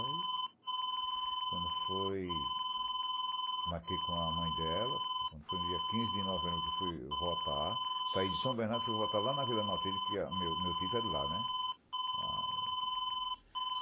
Aí, quando foi, marquei com a mãe dela, quando foi no dia quinze de novembro que fui votar, saí de São Bernardo e fui votar lá na Vila Matilde, que meu meu título é de lá, né?